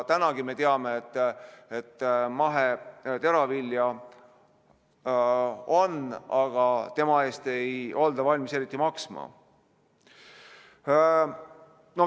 Tänagi me teame, et maheteravilja on, aga selle eest ei olda valmis eriti maksma.